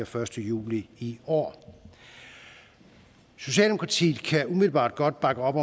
første juli i år socialdemokratiet kan umiddelbart godt bakke op